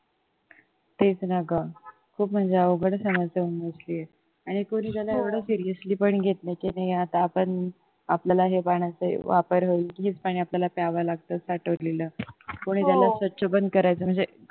तेच ना गं खूप म्हणजे अवघडच समस्या होऊन बसलीये आणि कोन्ही त्याला एवढं seriously पण घेत नाही की कोणी नाही आता आपण आपल्याला ह्या पाण्याचा वापर होईल हेच पाणी आपल्याला प्यावं लागतं साठवलेलं कोणी त्याला स्वच्छ पण करत नाही म्हणजे